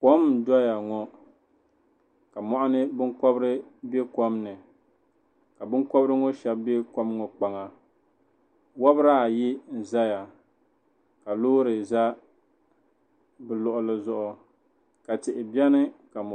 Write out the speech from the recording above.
Kam n zaya ŋɔ ka muɣuni binkɔbiri bɛ kom ni ka binkɔbiri ŋɔ shɛba bɛ kom ŋɔ kpaŋa wobiri ayi n zaya ka loori za bi luɣuli zuɣu ka tihi bɛ ni.